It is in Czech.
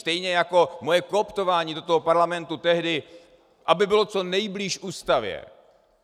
Stejně jako moje kooptování do toho parlamentu tehdy, aby bylo co nejblíž ústavě.